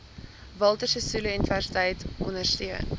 walter sisuluuniversiteit ondersteun